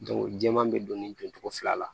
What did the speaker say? jɛman bɛ don cogo fila la